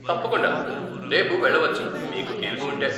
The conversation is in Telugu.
తప్పకుండా, రేపు వెళ్ళవచ్చు మీకు తీరిక ఉంటే.